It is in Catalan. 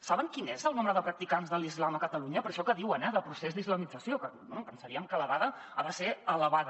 saben quin és el nombre de practicants de l’islam a catalunya per això que diuen eh del procés d’islamització que bé pensaríem que la dada ha de ser elevada